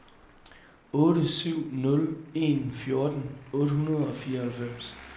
otte syv nul en fjorten otte hundrede og fireoghalvfems